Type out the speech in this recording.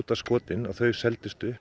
skotin seldust upp